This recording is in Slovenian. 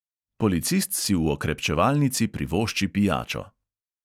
Policist si v okrepčevalnici privošči pijačo.